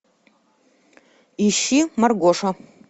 ищи маргоша